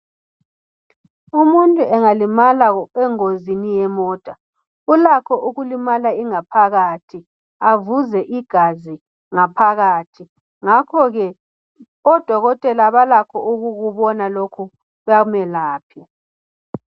Umuntu engalimala engozini yemota ulakho ukulimala ingaphakathi ophe igazi ngaphakathi ngakhoke odokotela balakho ukukubona lokho bamelaphe.